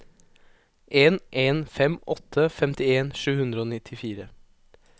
en en fem åtte femtien sju hundre og nittifire